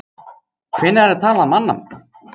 Hvenær er talað mannamál?